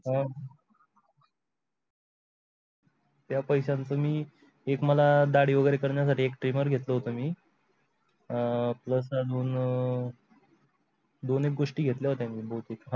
त्या पैशांचं मी एक मला दाढी वगैरे करण्यासाठी एक trimor घेतलं होतं म plus अजून दोन एक गोष्टी घेतल्या होत्या मी बहुतेक.